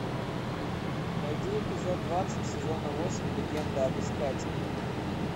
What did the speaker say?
найди эпизод двадцать сезона восемь легенда об искателе